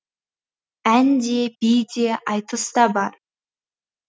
ән де би де айтыс та бар